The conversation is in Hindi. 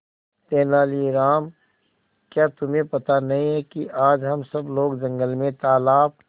तेनालीराम क्या तुम्हें पता नहीं है कि आज हम सब लोग जंगल में तालाब